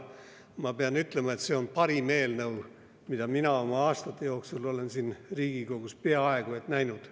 Ma pean ütlema, et see on peaaegu parim eelnõu, mida mina oma aastate jooksul olen siin Riigikogus näinud.